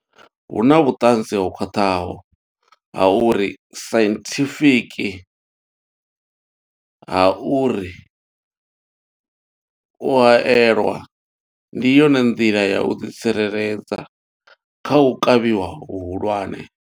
Hu na vhuṱanzi ho khwaṱhaho ha uri sainthifiki ha uri u haelwa ndi yone nḓila ya u ḓi tsireledza kha u kavhiwa hu hulwane.